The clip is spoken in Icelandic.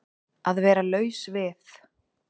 Að vera laus við